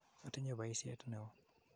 Atinye poisyet ne oo.